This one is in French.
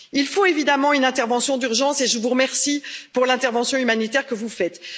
Il faut évidemment une intervention d'urgence, et je vous remercie pour l'intervention humanitaire que vous faites.